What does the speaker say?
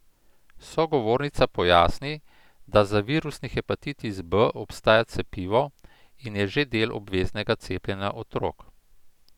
Sogovornica pojasni, da za virusni hepatitis B obstaja cepivo in je že del obveznega cepljenja otrok.